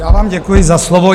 Já vám děkuji za slovo.